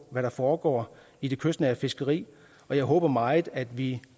hvad der foregår i det kystnære fiskeri og jeg håber meget at vi